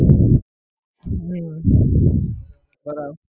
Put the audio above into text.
હમ સરસ